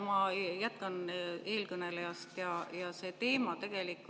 Ma jätkan eelkõneleja.